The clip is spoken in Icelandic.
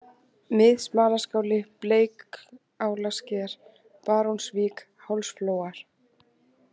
Mið-Smalaskáli, Bleikálasker, Barónsvík, Hálsflóar